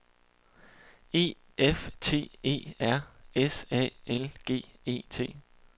E F T E R S A L G E T